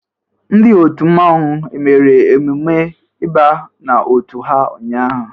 Ndị otu mmanwu e mere emume ịba n'otu ha ụnyaahụ?